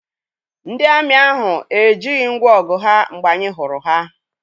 Ndị amị ahụ ejighị ngwọ ọgụ ha mgbe anyị hụrụ ha.